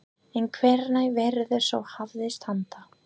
En hvenær verður svo hafist handa?